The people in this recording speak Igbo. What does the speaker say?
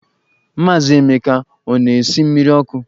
Maazị Emeka ọ na-esi mmiri ọkụ?